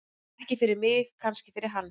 Ekki fyrir mig, kannski fyrir hann.